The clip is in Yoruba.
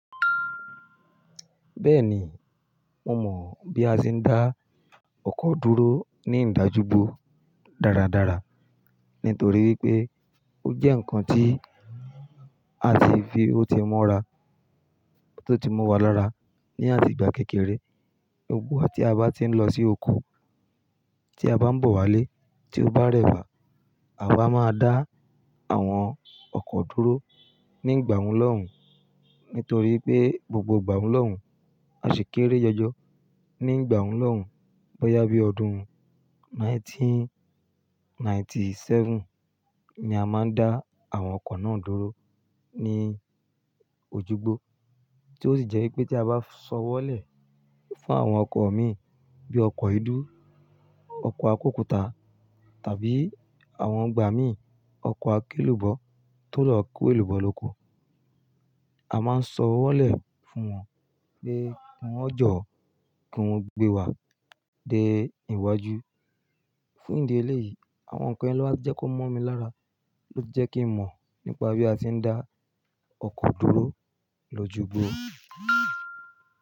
Bẹ́ẹ̀ni, mo mọ̀ bí a ti ń dá ọkọ̀ dúró ní ìdájúbo dáradára nítorí wípé ó jẹ́ ǹkan tí a ti fi ó ti mọ́ra, tó ti mọwa lára ní àtigba kékeré. Gbogbo wa ti a bá ti ń lọ sí oko, tí a bá ń bọ̀ wálé, tí ó bá rẹ́wà, àwa máa dá àwọn ọkọ̀ dúró ní ìgbà ohun lọ́hùn. Nítorí pé gbogbo ìgbà ọhun lọ́hùn, a ṣi kééré jọjọ ní ìgbà ọhun lọ́hùn. Bóyá bí ọdún ẹgbẹ̀rún kan ó lé ọgọ́rùn-ún mẹ́sàn-án ó lé ẹ́tàdínlọ́gọ́rùn-ún ni a máa ń dá àwọn ọkọ̀ náà dúró ní ojúgbó. Tí ó sì jẹ́ wípé tí a bá sọwọ́lẹ̀ fún àwọn ọkọ̀ mi bí ọkọ̀ èédú, ọkọ̀ akókuta tàbí àwọn igbà mi, ọkọ̀ akélùbọ́ tó lọ kó èlùbọ́ lóko, a máa ń sọwọ́lẹ̀ fún wọn pé "ki wọn jọ́, ki wọn gbé wa dé ìwájú". Fún ìdí eléyìí, àwọn ǹkan yìí ló wá jẹ́ kó mọ́ mi lára, ló jẹ́ kí n mọ̀ nípa bí a ti ń dá ọkọ̀ dúró lójúgbó.